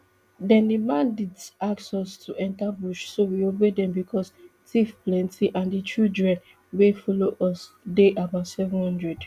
den di bandits ask us to enta bush so we obey dem becos tiff plenty and di children wey follow us dey about seven hundred